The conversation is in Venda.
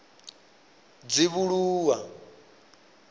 dzivhuluwa